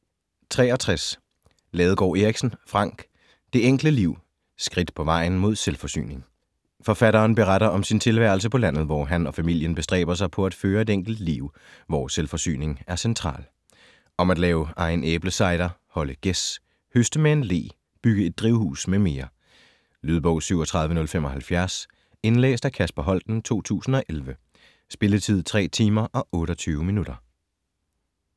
63 Ladegaard Erichsen, Frank: Det enkle liv: skridt på vejen mod selvforsyning Forfatteren beretter om sin tilværelse på landet, hvor han og familien bestræber sig på at føre et enkelt liv, hvor selvforsyning er central. Om at lave egen æblecider, holde gæs, høste med en le, bygge et drivhus mm. Lydbog 37075 Indlæst af Kasper Holten, 2011. Spilletid: 3 timer, 28 minutter.